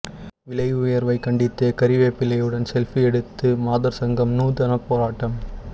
விலை உயர்வை கண்டித்து கறிவேப்பிலையுடன் செல்பி எடுத்து மாதர் சங்கம் நூதன போராட்டம்